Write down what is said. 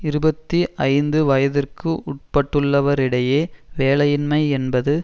இருபத்தி ஐந்து வயதிற்கு உட்பட்டுள்ளவரிடையே வேலையின்மை என்பது